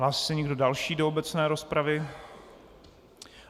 Hlásí se někdo další do obecné rozpravy?